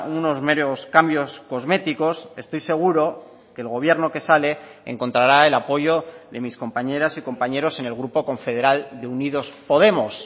unos meros cambios cosméticos estoy seguro que el gobierno que sale encontrará el apoyo de mis compañeras y compañeros en el grupo confederal de unidos podemos